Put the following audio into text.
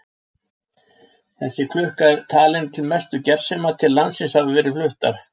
Þessi klukka er talin til mestu gersema sem til landsins hafa verið fluttar.